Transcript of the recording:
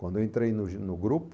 Quando eu entrei no jo no grupo,